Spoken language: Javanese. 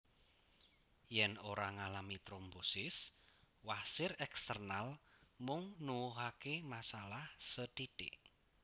Yen ora ngalami trombosis wasir eksternal mung nuwuhake masalah sethithik